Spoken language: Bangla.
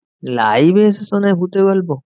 Live এ এসে শোনায় ভুতের গল্প?